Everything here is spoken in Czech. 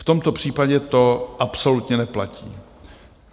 V tomto případě to absolutně neplatí.